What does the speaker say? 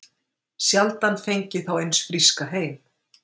Sjaldan fengið þá eins fríska heim